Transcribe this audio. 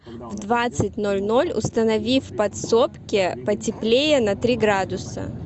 в двадцать ноль ноль установи в подсобке потеплее на три градуса